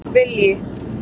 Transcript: Vilji